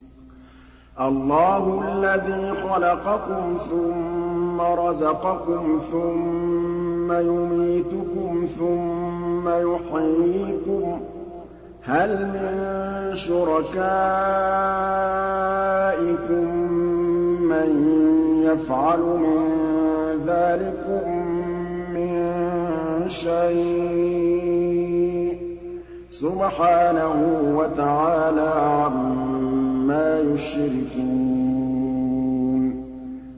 اللَّهُ الَّذِي خَلَقَكُمْ ثُمَّ رَزَقَكُمْ ثُمَّ يُمِيتُكُمْ ثُمَّ يُحْيِيكُمْ ۖ هَلْ مِن شُرَكَائِكُم مَّن يَفْعَلُ مِن ذَٰلِكُم مِّن شَيْءٍ ۚ سُبْحَانَهُ وَتَعَالَىٰ عَمَّا يُشْرِكُونَ